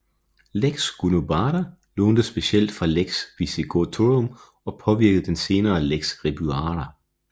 Lex Gundobada lånte specielt fra Lex Visigothorum og påvirkede den senere Lex Ribuaria